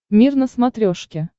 мир на смотрешке